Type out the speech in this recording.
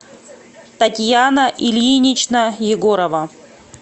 татьяна ильинична егорова